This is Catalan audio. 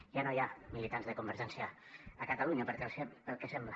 ja no hi ha militants de convergència a catalunya pel que sembla